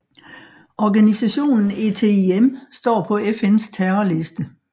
Organisationen ETIM står på FNs terroristliste